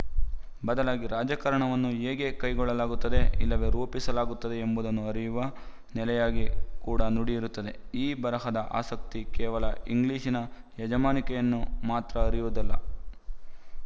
ಬದಲಾಗಿ ರಾಜಕಾರಣವನ್ನು ಹೇಗೆ ಕೈಗೊಳ್ಳಲಾಗುತ್ತದೆ ಇಲ್ಲವೇ ರೂಪಿಸಲಾಗುತ್ತದೆ ಎಂಬುದನ್ನು ಅರಿಯುವ ನೆಲೆಯಾಗಿ ಕೂಡ ನುಡಿ ಇರುತ್ತದೆ ಈ ಬರಹದ ಆಸಕ್ತಿಕೇವಲ ಇಂಗ್ಲಿಶಿನ ಯಜಮಾನಿಕೆಯನ್ನು ಮಾತ್ರ ಅರಿಯುವುದಲ್ಲ